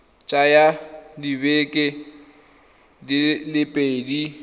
tsaya dibeke di le pedi